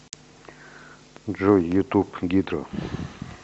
джой ютуб гидра